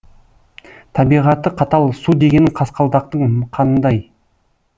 табиғаты қатал су дегенің қасқалдақтың қанындай